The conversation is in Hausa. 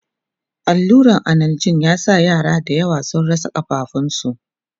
alluran analjin ya sa yara da yawa sun rasa kafafuwan su